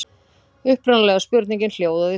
Upprunalega spurningin hljóðaði svo: